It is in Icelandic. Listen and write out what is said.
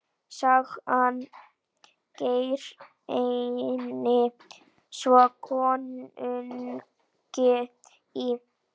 Sagan greinir frá konungi í